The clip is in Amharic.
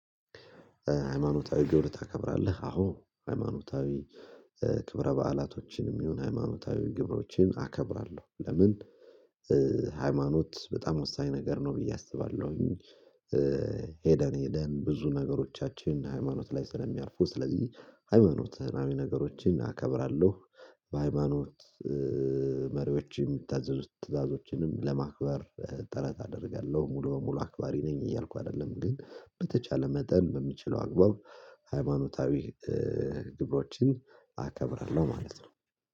ሃይማኖታዊ ግብር ታከብራለህ? አዎ ሃይማኖታዊ ክብረ በዓላቶችንም ይሁን ሃይማኖታዊ ግብሮችን አከብራለሁ። ለምን? ሃይማኖት በጣም ወሳኝ ነገር ነው ብዬ አስባለሁ። ሄደን ሄደን ብዙ ነገሮቻችን ሃይማኖት ላይ ስለሚያርፉ ስለዚህ ሃይማኖትናዊ ነገሮችን አከብራለሁ። በሃይማኖት መሪዎችን ሚታዘዙ ትዛዞችን ለማክበር ጥረት አደርጋለሁ ሙሉ በሙሉ አክባሪ ነኝ እያልኩ አይደለም ግን በተቻለ መጠን በምችለው አግባብ። ሃይማኖታዊ ግብሮችን አከብራለሁ ማለት ነው።